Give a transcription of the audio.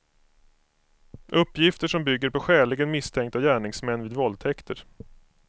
Uppgifter som bygger på skäligen misstänkta gärningsmän vid våldtäkter.